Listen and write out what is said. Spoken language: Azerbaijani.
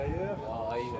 Səri.